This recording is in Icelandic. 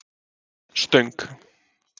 Stöng